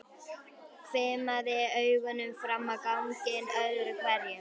Hvimaði augunum fram á ganginn öðru hverju.